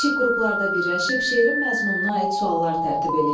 Kiçik qruplarda birləşib şerin məzmununa aid suallar tərtib eləyin.